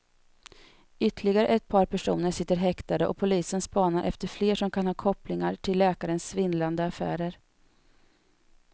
Ytterligare ett par personer sitter häktade och polisen spanar efter fler som kan ha kopplingar till läkarens svindlande affärer.